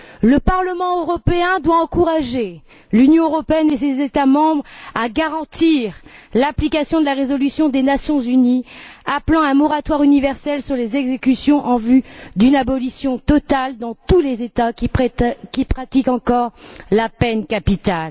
Le Parlement européen doit encourager l'Union européenne et ses États membres à garantir l'application de la résolution des Nations unies appelant à un moratoire universel sur les exécutions en vue d'une abolition totale dans tous les États qui pratiquent encore la peine capitale.